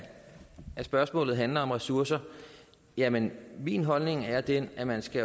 spørgsmålet handler om ressourcer jamen min holdning er den at man skal